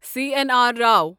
C N R Rao